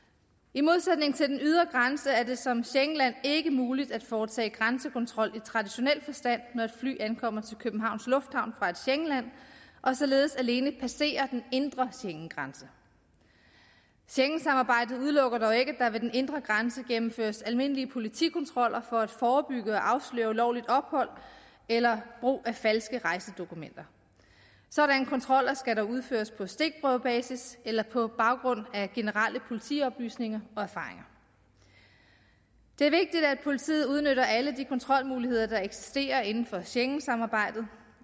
i modsætning til den ydre grænse er det som schengenland ikke muligt at foretage grænsekontrol i traditionel forstand når et fly kommer til københavns lufthavn fra et schengenland og således alene passerer den indre schengengrænse schengensamarbejdet udelukker dog ikke at der ved den indre grænse gennemføres almindelige politikontroller for at forebygge og afsløre ulovligt ophold eller brug af falske rejsedokumenter sådanne kontroller skal udføres på stikprøvebasis eller på baggrund af generelle politioplysninger og erfaringer det er vigtigt at politiet udnytter alle de kontrolmuligheder der eksisterer inden for schengensamarbejdet